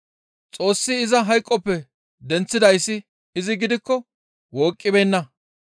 Xoossi iza hayqoppe denththidayssi izi gidikko wooqqibeenna.